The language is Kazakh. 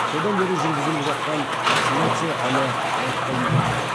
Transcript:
содан бері жүргізіліп жатқан вакцинация әлі аяқталмапты